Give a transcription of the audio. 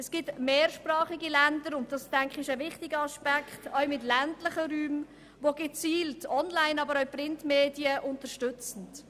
Es gibt mehrsprachige Länder – und ich denke, das ist ein wichtiger Aspekt – auch mit ländlichen Räumen, welche Printmedien, aber auch Onlinemedien gezielt unterstützen.